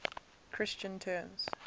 christian terms